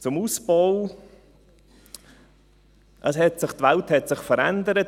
Zum Ausbau: Die Welt hat sich verändert.